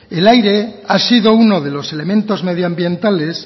el aire ha sido uno de los elementos medio ambientales